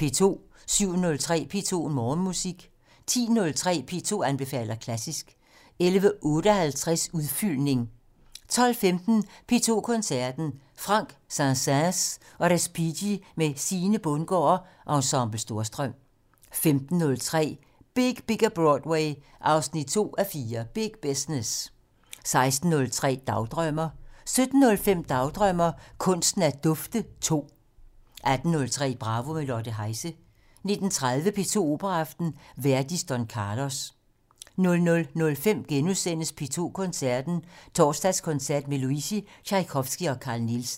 07:03: P2 Morgenmusik 10:03: P2 anbefaler klassisk 11:58: Udfyldning 12:15: P2 Koncerten - Franck, Saint-Säens og Respighi med Sine Bundgaard og Ensemble Storstrøm 15:03: Big Bigger Broadway 2:4 - Big Business 16:03: Dagdrømmer 17:05: Dagdrømmer: Kunsten at dufte 2 18:03: Bravo - med Lotte Heise 19:20: P2 Operaaften - Verdi: Don Carlos 00:05: P2 Koncerten - Torsdagskoncert med Luisi, Tjajkovskij og Carl Nielsen *